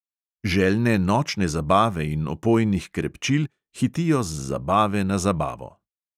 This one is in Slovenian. Željne nočne zabave in opojnih krepčil hitijo z zabave na zabavo.